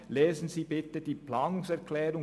Lesen Sie bitte die Planungserklärung.